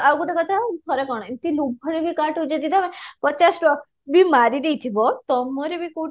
ଆଉ ଗୋଟେ କଥା ଥରେ କ'ଣ ଏମିତି ଲୋଭରେ ବି କାହାଠୁ ବି ଯଦି ତମେ ପଚାଶ ଟଙ୍କା ବି ମାରି ଦେଇଥିବ ତମର ବି କଉଠି ନା